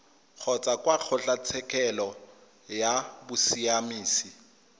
kgotsa kwa kgotlatshekelo ya bosiamisi